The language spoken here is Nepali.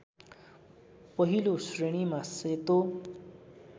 पहिलो श्रेणीमा सेतो